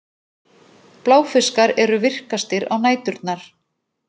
Bláfiskar eru virkastir á næturnar.